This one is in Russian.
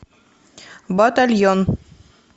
батальон